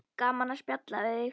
Gaman að spjalla við þig.